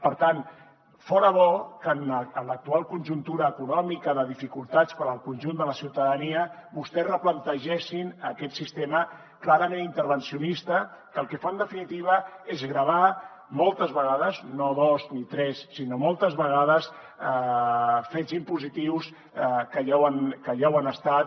per tant fora bo que en l’actual conjuntura econòmica de dificultats per al conjunt de la ciutadania vostès es replantegessin aquest sistema clarament intervencionista que el que fa en definitiva és gravar moltes vegades no dos ni tres sinó moltes vegades fets impositius que ja ho han estat